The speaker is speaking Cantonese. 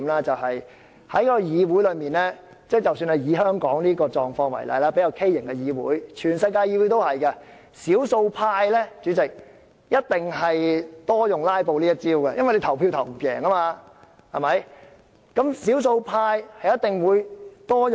在一個議會中，不論是香港這種較畸形的議會，還是世界各地的議會，少數派一定較常用"拉布"這一招，因為他們在表決中無法取勝。